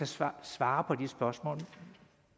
svare svare på de spørgsmål